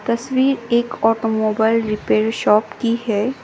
तस्वीर एक automobile repair shop की है।